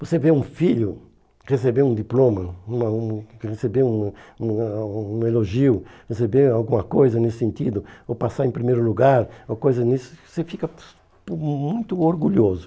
Você vê um filho receber um diploma, uma um receber uma um ah um elogio, receber alguma coisa nesse sentido, ou passar em primeiro lugar ou coisa nisso, você fica mu mu muito orgulhoso.